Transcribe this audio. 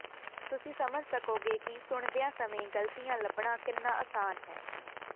ਤੁਸੀਂ ਸਮਝ ਸਕੋਗੇ ਕਿ ਸੁਣਦਿਆਂ ਸਮੇਂ ਗਲਤੀਆਂ ਲੱਭਣਾ ਕਿੰਨਾ ਆਸਾਨ ਹੈ